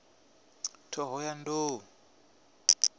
ṱhohoyanḓou